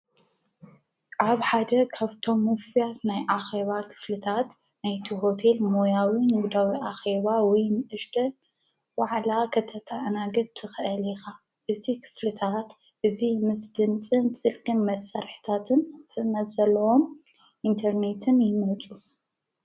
ኣብ ሓደ ካብቶም ሙፍያት ናይ ኣኼዋ ኽፍልታት ናይቲ ሆቴል ሞያዊ ንብዳዊ ኣኼዋ ወይ ምእሽደ ወዕላ ኸተተእናገድ ተኽአልኻ እቲ ኽፍልታት እዙ ምስ ብንጽን ጽልክን መሠርሕታትን ፍመዘለዎም ኢንተርኔትን ይመጹ።